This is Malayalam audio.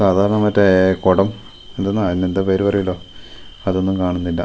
സാധാരണ മറ്റേ കൊടം എന്ത്ന്നാ അയിന് എന്തൊ പേര് പറയുല്ലോ അതൊന്നും കാണുന്നില്ല.